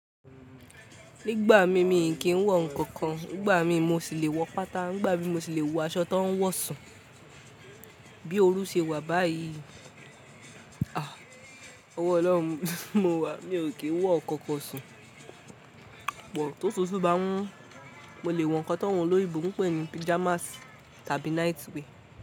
Nígbà mí, mi kì ń wọ ǹnkan kan. Nígbà mí mo sì lè wọ pátá, ngbà mí mo sì lè wọ aṣọ tó ń wọ̀sùn. Bí oru ṣe wà báyìí, a! Ọwọ́ Ọlọ́run mowà, mi ò kì í wọ nnkan kan sùn. Pò tó otútú bá n mù, mo lè wọ ǹnkan tó awon olóyinbo n pè ní pijamas tàbí night wear.